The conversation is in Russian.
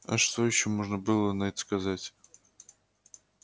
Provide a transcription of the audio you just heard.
а что ещё можно было на это сказать